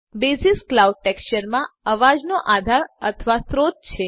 basis cloud texture માં અવાજનો આધાર અથવા સ્ત્રોત છે